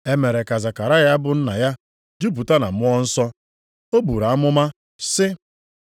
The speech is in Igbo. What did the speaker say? E mere ka Zekaraya bụ nna ya jupụta na Mmụọ Nsọ. O buru amụma sị,